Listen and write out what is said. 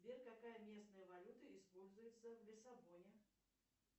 сбер какая местная валюта используется в лиссабоне